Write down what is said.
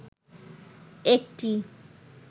একটি